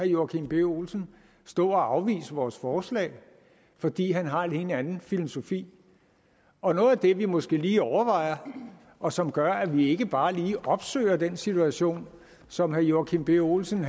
joachim b olsen stå og afvise vores forslag fordi han har en helt anden filosofi og noget af det vi måske lige overvejer og som gør at vi ikke bare lige opsøger den situation som herre joachim b olsen